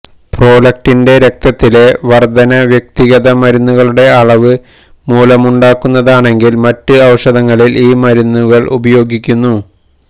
പ്രോലക്റ്റിന്റെ രക്തത്തിലെ വർധന വ്യക്തിഗത മരുന്നുകളുടെ അളവ് മൂലമുണ്ടാകുന്നതാണെങ്കിൽ മറ്റ് ഔഷധങ്ങളിൽ ഈ മരുന്നുകൾ ഉപയോഗിക്കുന്നു